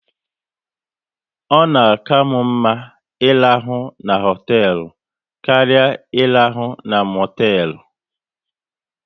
Ọ na karmu mma ị rahụ na hotelu karịa irahu na motelu